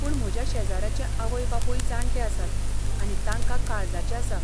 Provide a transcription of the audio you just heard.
पूण म्हज्या शेजाऱ्याचे आवय बापूय जाण्टे आसात आनी तांकां काळजाचें आसा.